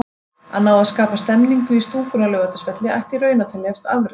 Að ná að skapa stemningu í stúkunni á Laugardalsvelli ætti í raun að teljast afrek.